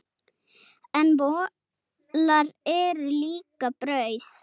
En molar eru líka brauð.